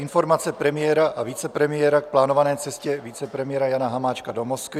Informace premiéra a vicepremiéra k plánované cestě vicepremiéra Jana Hamáčka do Moskvy